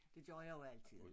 Det gør jeg jo altid